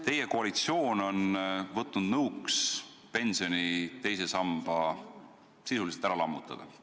Teie koalitsioon on võtnud nõuks pensioni teise samba sisuliselt ära lammutada.